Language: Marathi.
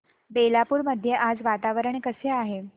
बेलापुर मध्ये आज वातावरण कसे आहे